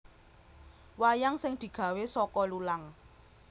Wayang sing digawe saka lulang